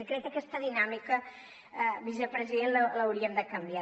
i crec que aquesta dinàmica vicepresident l’hauríem de canviar